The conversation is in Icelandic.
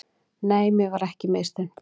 Nei, mér var ekki misþyrmt.